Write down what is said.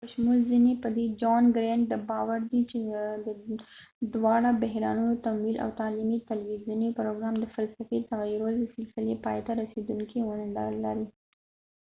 د john grant په شمول ځینې په دې باور دي چې دواړه د بحرانونو تمویل او د تعلیمي تلویزیوني پروګرام د فلسفې تغیرول د سلسلې پایته رسیدو کې ونډه لري